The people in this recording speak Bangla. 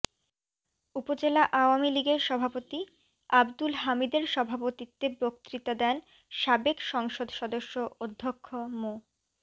উপজেলা আওয়ামী লীগের সভাপতি আব্দুল হামিদের সভাপতিত্বে বক্তৃতা দেন সাবেক সংসদ সদস্য অধ্যক্ষ মো